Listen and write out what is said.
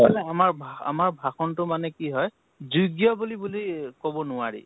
আমাৰ ভ, আমাৰ ভাষাণ তো মানে কি হয়, যোগ্য় বুলি, বুলি কʼব নোৱাৰি